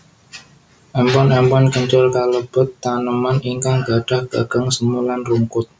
Empon empon kencur kalebet taneman ingkang gadhah gagang semu lan rungkut